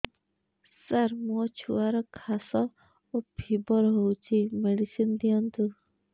ସାର ମୋର ଛୁଆର ଖାସ ଓ ଫିବର ହଉଚି ମେଡିସିନ ଦିଅନ୍ତୁ